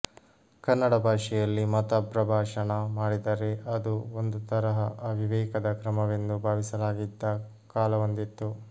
ಕನ್ನಡ ಭಾಷೆಯಲ್ಲಿ ಮತ ಪ್ರಭಾಷಣ ಮಾಡಿದರೆ ಅದು ಒಂದು ತರಹ ಅವಿವೇಕದ ಕ್ರಮವೆಂದು ಭಾವಿಸಲಾಗಿದ್ದ ಕಾಲವೊಂದಿತ್ತು